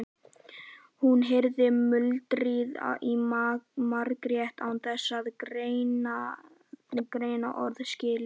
Hún heyrði muldrið í Margréti án þess að greina orðaskil.